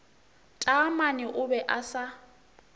taamane o be a sa